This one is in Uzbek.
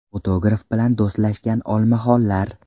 Fotograf bilan do‘stlashgan olmaxonlar .